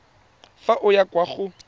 fa o ya kwa go